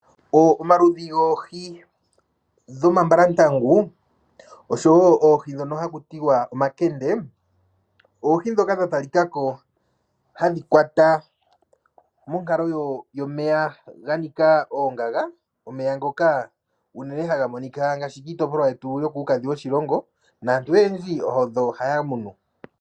Omaludhi goohi dhomambalantangu oshowo oohi ndhono haku tiwa omankende odha tali kako hadhi kwata monkalo yomeya ganika oongaga . Omeya ngoka haga monika unene ngaashi kiitopolwa yokuukadhi woshilongo naantu oyendji odho haya munu .